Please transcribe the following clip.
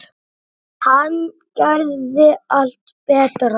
Hann gerði allt betra.